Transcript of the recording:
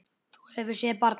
Þú hefur séð barnið?